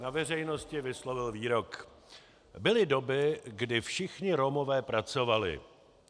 Na veřejnosti vyslovil výrok: "Byly doby, kdy všichni Romové pracovali.